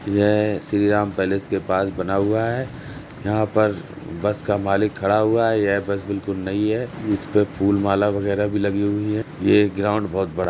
यह श्री राम पैलेस के पास बना हुआ है। यहां पर बस का मालिक खड़ा हुआ है। यह बस बिल्कुल नई है इसपे फूल-माला वगैरह भी लगी हुई है। ये ग्राउंड बोहुत बड़ा है।